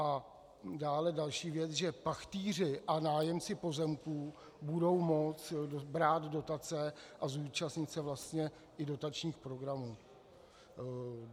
A dále další věc, že pachtýři a nájemci pozemků budou moct brát dotace a zúčastnit se vlastně i dotačních programů.